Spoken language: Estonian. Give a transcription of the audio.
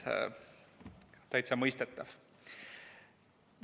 Täitsa mõistetav.